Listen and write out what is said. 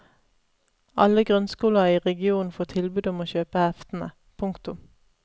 Alle grunnskoler i regionen får tilbud om å kjøpe heftene. punktum